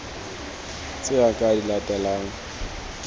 tse a ka di latelang